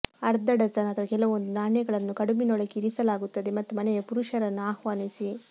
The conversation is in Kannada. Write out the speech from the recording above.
ಅರ್ಧ ಡಜನ್ ಅಥವಾ ಕೆಲವೊಂದು ನಾಣ್ಯಗಳನ್ನು ಕಡುಬಿನೊಳಗೆ ಇರಿಸಲಾಗುತ್ತದೆ ಮತ್ತು ಮನೆಯ ಪುರುಷರನ್ನು ಆಹ್ವಾನಿಸಿ